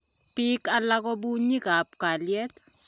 biik alak ko bunyikab kalyet